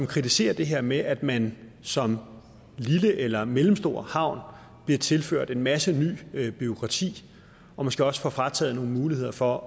kritiseret det her med at man som lille eller mellemstor havn bliver tilført en masse ny bureaukrati og måske også får frataget nogle muligheder for